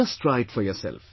Just try it for yourself